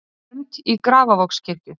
Fermt í Grafarvogskirkju